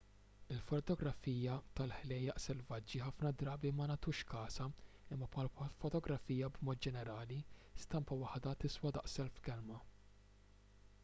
il-fotografija tal-ħlejjaq selvaġġi ħafna drabi ma nagħtux kasha imma bħall-fotografija b'mod ġenerali stampa waħda tiswa daqs elf kelma